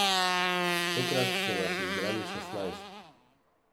Tokrat so nas izbrali šestnajst.